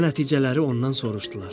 Nəvə-nəticələri ondan soruşdular: